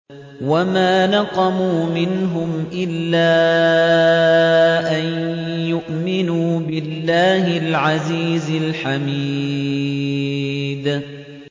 وَمَا نَقَمُوا مِنْهُمْ إِلَّا أَن يُؤْمِنُوا بِاللَّهِ الْعَزِيزِ الْحَمِيدِ